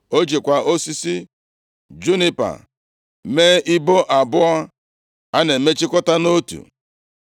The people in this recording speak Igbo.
O jikwa osisi junipa mee ibo abụọ a na-emechikọta nʼotu.